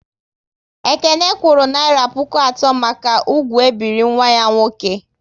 Ekene kwuru naira puku atọ maka ugwu e biri nwa ya nwoke